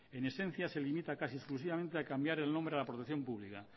en esencia se limita casi exclusivamente a cambiar el nombre a la protección pública